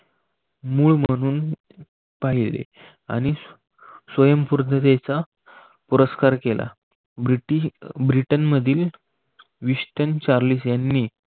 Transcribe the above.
मूळ म्हणून पाहिले. आणि स्वयंपूर्णतेचा पुरस्कार केला. ब्रिटन मधील विस्टन चार्लीस यांनी